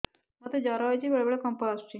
ମୋତେ ଜ୍ୱର ହେଇଚି ବେଳେ ବେଳେ କମ୍ପ ଆସୁଛି